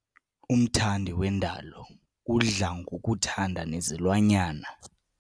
Umthandi wendalo udla ngokuthanda nezilwanyana.